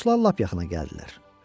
Qalanoslar lap yaxına gəldilər.